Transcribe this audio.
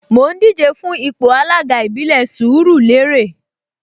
Mò ń díje fún ipò alága ìbílẹ̀ Sùúrùlérè